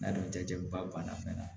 N'a dɔn jaba banna fɛnɛ